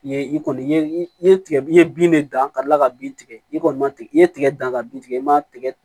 I ye i kɔni ye i ye tigɛ i ye bin de dan ka kila ka bin tigɛ i kɔni ma tigɛ i ye tigɛ dan ka bin tigɛ i ma tigɛ